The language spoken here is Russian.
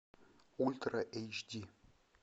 ультра эйч ди